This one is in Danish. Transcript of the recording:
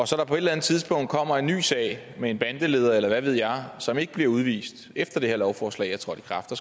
så på et eller andet tidspunkt kommer en ny sag med en bandeleder eller hvad ved jeg som ikke bliver udvist efter det her lovforslag er trådt i kraft for